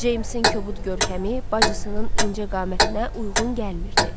Ceymsin kobud görkəmi bacısının incə qamətinə uyğun gəlmirdi.